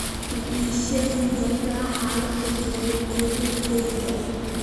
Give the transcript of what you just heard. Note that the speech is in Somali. ma ii sheegi kartaa xaalada gaadiid ee deegaankayga